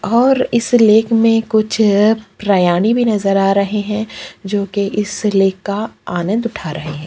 और इस लेक में कुछ ये प्राणी भी नज़र आ रहै हैं जो कि इस लेक का आनंद उठा रहै हैं।